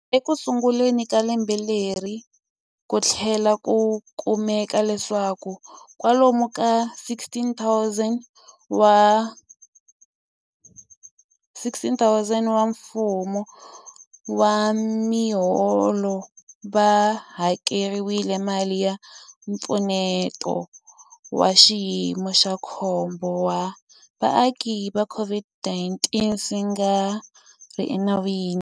Ekusunguleni ka lembe leri, ku tlhele ku kumeka leswaku kwalomu ka 16,000 wa vatho riwa lava nga eka nxaxamelo wa mfumo wa miholo va hakeriwile mali ya Mpfuneto wa Xiyimo xa Khombo wa Vaaki ya COVID-19 swi nga ri enawini.